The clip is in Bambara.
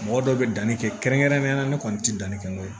Mɔgɔ dɔw bɛ danni kɛ kɛrɛnkɛrɛnnenya la ne kɔni tɛ danni kɛ n'o ye